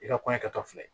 I ka kɔɲɔ kɛtɔ filɛ